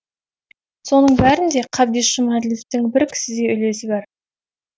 соның бәрінде қабдеш жұмаділовтің бір кісідей үлесі бар